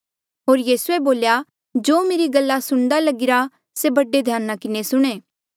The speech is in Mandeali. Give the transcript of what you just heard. होर यीसूए बोल्या जो मेरी गल्ला सुणदा लगीरा से बड़े ध्याना किन्हें सुणें